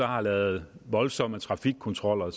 har lavet voldsomme trafikkontroller